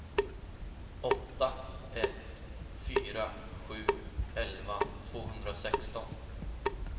åtta ett fyra sju elva tvåhundrasexton